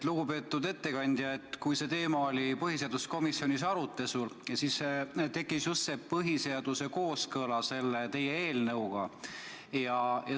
Lugupeetud ettekandja, kui see teema oli põhiseaduskomisjonis arutelul, siis tekkis just see põhiseaduse kooskõlast selle teie eelnõuga.